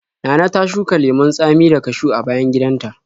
Nana ta shuka lemon tsami da kashiw a bayan gidanta.